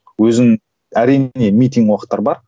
өзің әрине митинг уақыттар бар